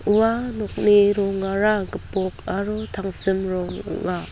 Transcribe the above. ua nokni rongara gipok aro tangsim rong ong·a.